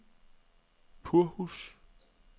Purhus